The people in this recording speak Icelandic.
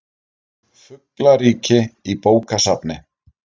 Fuglaríki í bókasafni